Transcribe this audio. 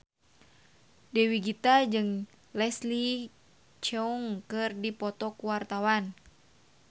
Dewi Gita jeung Leslie Cheung keur dipoto ku wartawan